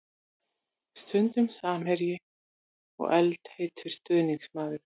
Stundum samherji og eldheitur stuðningsmaður.